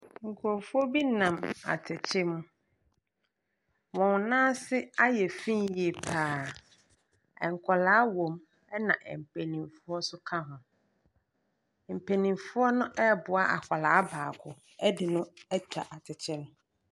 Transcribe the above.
Nkurɔfoɔ bi nam atɛkyɛ mu. Wɔn nan ase ayɛ fi yie pa ara. Nkwadaa wɔ mu, ɛna mpanimfoɔ nso ka ho. Mpanimfoɔ no reboa akwadaa baako de no atwa atɛkyɛ no.